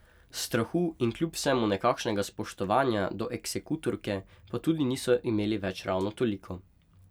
Strahu in kljub vsemu nekakšnega spoštovanja do eksekutorke pa tudi niso imeli več ravno toliko.